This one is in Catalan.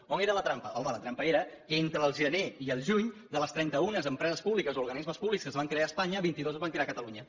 on era la trampa home la trampa era que entre el gener i el juny de les trenta una empreses públiques o organismes públics que es van crear a espanya vinti dos es van crear a catalunya